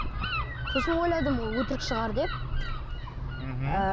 сосын ойладым ол өтірік шығар деп мхм ы